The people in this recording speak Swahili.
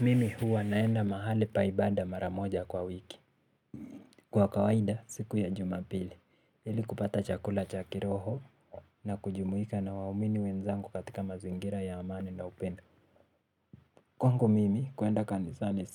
Mimi huwa naenda mahali pa ibaada mara moja kwa wiki. Kwa kawaida siku ya jumapili ili kupata chakula cha kiroho na kujumuika na waumini wenzangu katika mazingira ya amani na upendo. Kwangu mimi kuenda kanisani